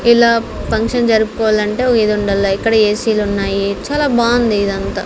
ఇలా ఫంక్షన్ జరుపుకోవాలంటే ఒ ఇది ఉండల్ల ఇక్కడ ఏసీ లున్నాయి చాలా బాంది ఇదంతా.